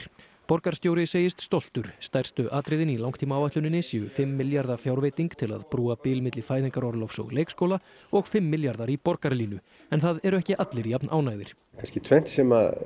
borgarstjóri segist stoltur stærstu atriðin í langtímaáætluninni séu fimm milljarða fjárveiting til að brúa bil milli fæðingarorlofs og leikskóla og fimm milljarðar í Borgarlínu en það eru ekki allir jafnánægðir það er tvennt sem